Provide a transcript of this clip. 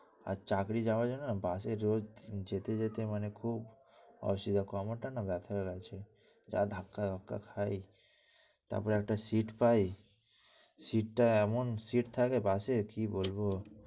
আর চাকরি যাওয়ার জন্য bus রোজ যেতে যেতে মানে খুব কামড়টা না ব্যাথা হয়ে যাচ্ছে, ধাক্কা ধাক্কা খাই। তারপর একটা seat পাই। সিট টা এমন seat থাকে বাসে কি বলবো?